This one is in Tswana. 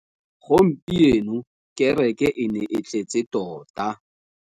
Gompieno kêrêkê e ne e tletse tota.